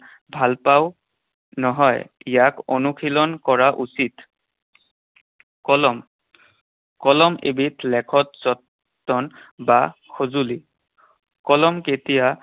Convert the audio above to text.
ভাল পাওঁ নহয়, ইয়াক অনুশীলন কৰা উচিত। কলম। কলম এবিধ লেখত জন বা সঁজুলি। কলম কেতিয়া